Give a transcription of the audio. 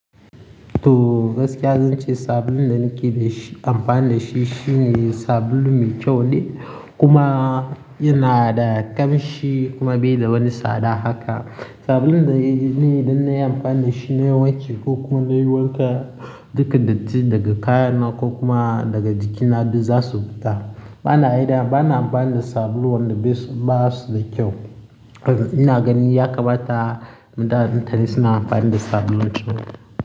To gaskiya zan ce sabulun da nake amfani da shi shine sabulu mai kyau ne kuma yana da ƙamshi kuma bai da wani tsada haka. Sabulun da ne dan na yi amfani da shi na yi wan ki ko kuma na yi wanka dukan dattin daga kayana ko kuma daga jikina duk za su fita. Bana aida, bana amfani da sabulu wanda bai basu da kyau. Ina ganin ya kamata mutanen da suna amfani da sabulun kyau.